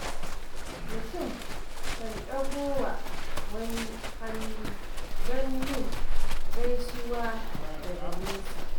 Mutum kan ɗagawa wani hannu don yin gaisuwa daga nesa.